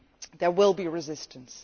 There will be resistance.